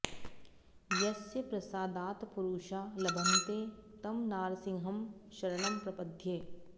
यस्य प्रसादात् पुरुषा लभन्ते तं नारसिंहं शरणं प्रपद्ये